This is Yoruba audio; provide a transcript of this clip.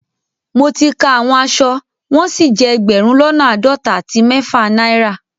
Mọ̀ tí ká àwọn àṣọ wọn sí jẹ ẹgbérùn lọ́nà aádọ́tà àti mẹ̀fà naira